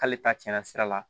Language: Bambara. K'ale ta cɛnna sira la